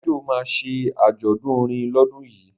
Davido ma ṣe àjọ̀dún orin lọ́dún yìí